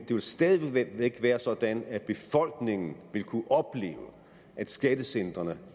jo stadig væk være sådan at befolkningen vil kunne opleve at skattecentrene